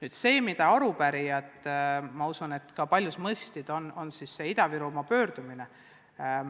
Ma usun, et arupärijad ja ka paljud teised mõistsid Ida-Virumaa pöördumist.